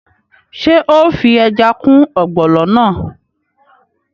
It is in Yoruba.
Ṣé o fi ẹja kún ọ̀gbọ̀nọ̀ náà?